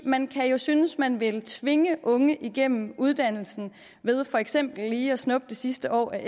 man kan jo synes at man vil tvinge unge igennem uddannelsen ved for eksempel lige at snuppe det sidste år af